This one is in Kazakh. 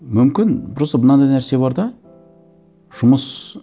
мүмкін просто мынандай нәрсе бар да жұмыс